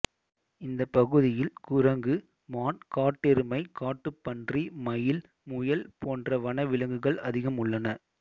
இந்த பகுதியில் குரங்கு மான் காட்டெருமை காட்டுப்பன்றி மயில் முயல் போன்ற வன விலங்குகள் அதிகம் உள்ளன